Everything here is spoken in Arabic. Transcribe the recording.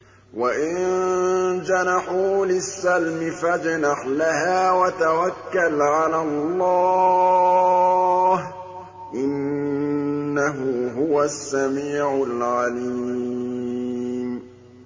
۞ وَإِن جَنَحُوا لِلسَّلْمِ فَاجْنَحْ لَهَا وَتَوَكَّلْ عَلَى اللَّهِ ۚ إِنَّهُ هُوَ السَّمِيعُ الْعَلِيمُ